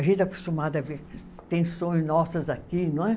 A gente é acostumado a ver tensões nossas aqui, não é?